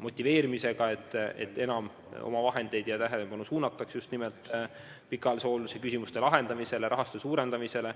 motiveerimisega, et enam omavahendeid ja tähelepanu suunataks just nimelt pikaajalise hoolduse küsimuste lahendamisele ja rahastuse suurendamisele.